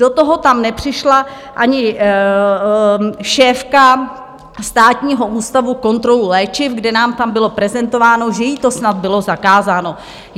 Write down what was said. Do toho tam nepřišla ani šéfka Státního ústavu kontrolu léčiv, kde nám tam bylo prezentováno, že jí to snad bylo zakázáno.